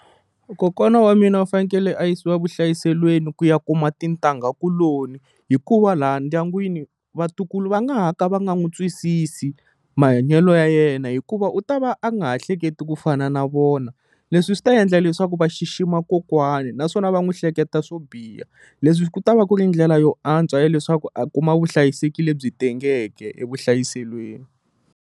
Kokwana wa mina va fanekele a yisiwa vuhlayiselweni ku ya kuma tintangha kuloni hikuva laha ndyangwini vatukulu va nga ha ka va nga n'wi twisisi mahanyelo ya yena hikuva u ta va a nga ha hleketi ku fana na vona leswi swi ta endla leswaku va xixima kokwana naswona va n'wi hleketa swo biha leswi ku ta va ku ri ndlela yo antswa ya leswaku a kuma vuhlayiseki lebyi tengeke e vuhlayiselweni.